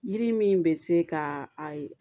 Yiri min bɛ se ka a ye